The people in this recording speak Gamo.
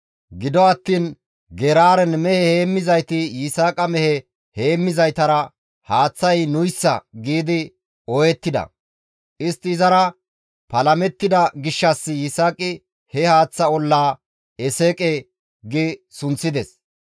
Gido attiin Geraaren mehe heemmizayti Yisaaqa mehe heemmizaytara, «Haaththay nuyssa» gi ooyettida. Istti izara palamettida gishshas Yisaaqi he haaththa ollaa, «Eseqe» gi sunththides.